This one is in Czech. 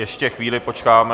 Ještě chvíli počkáme.